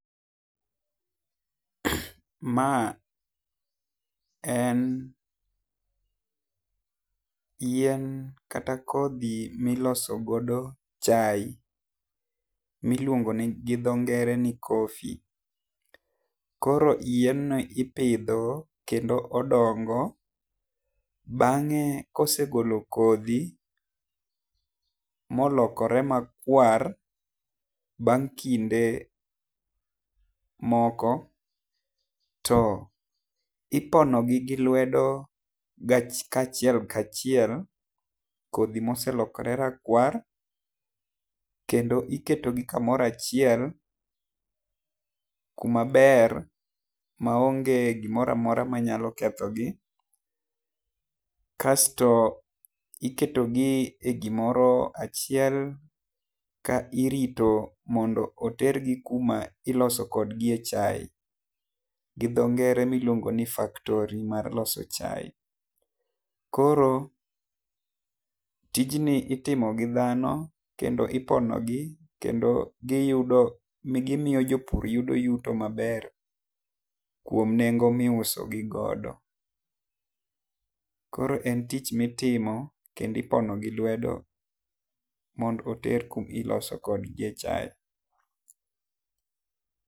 Ma en yien kata kodhi mi iloso godo chai mi iluongo gi dho ngere ni coffee koro yien no ipidho kendo odongo bang'e kosegolo kodhi ma olokore ma rakwar bang' kinde moko to ipono gi gi lwedo kachiel kachiel kodhi ma oselokre rakwar kendo iketo gi kumoro achiel ku maber ma onge gi moro amora ma nyalo ketho gi kasto iketo gi e gi moro achiel ka irito mondo oter gi kuma iloso kod gi e chai gi dho ngere mi iluongo ni factory mar loso chai. Koro tijni itimo gi dhano kendo ipono gi kendo gi yudo ni gi miyo jopur yuto ma ber kuom nengo mi iuso gi godo. Koro en tich mi itimo kendo ipono gi lwedo mondo oter kuma iloso kod gi e chai.